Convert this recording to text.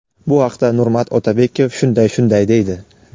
Bu haqda Nurmat Otabekov shunday shunday deydi:.